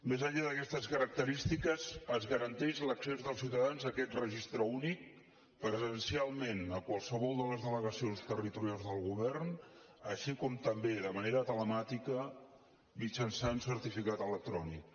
més enllà d’aquestes característiques es garanteix l’accés dels ciutadans a aquest registre únic presencialment a qualsevol de les delegacions territorials del govern així com també de manera telemàtica mitjançant certificat electrònic